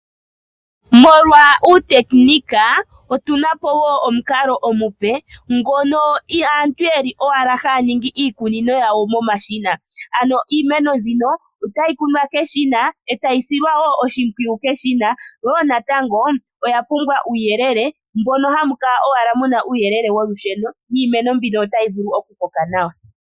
Molwa uutekinika, otuna po woo omukalo omupe ngono aantu yeli owala haya ningi iikunino yawo momashina. Ano iimino mbino otayi kunwa keshina etayi silwa woo oshimpwiyu keshina, woo natango oyapumbwa uuyelele mono hamu kala owala muna uuyelele wolusheno niimeno mbino otayi koko nawa.